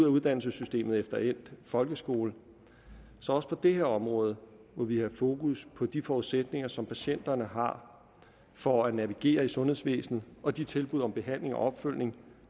uddannelsessystemet efter endt folkeskole så også på det her område må vi have fokus på de forudsætninger som patienterne har for at navigere i sundhedsvæsenet og de tilbud om behandling og opfølgning